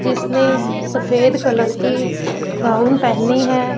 जिसने सफेद कलर की गाउन पहनी है।